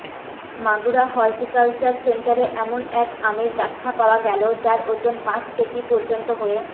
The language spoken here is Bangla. মাগুরা হর্টিকালচার সেন্টারে এমন এক আমের দেখা পাওয়া গেল যার ওজন পাঁচ কেজি পর্যন্ত হয়ে